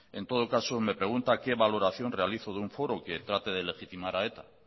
en todo caso me pregunta qué valoración realizo de un foro que trate de legitimar a eta